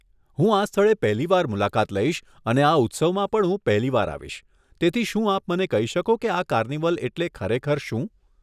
હું આ સ્થળે પહેલી વાર મુલાકાત લઇશ અને આ ઉત્સવમાં પણ હું પહેલી વાર આવીશ, તેથી શું આપ મને કહી શકો કે આ કાર્નિવલ એટલે ખરેખર શું?